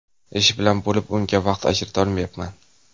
Ish bilan bo‘lib unga vaqt ajrata olmayapman.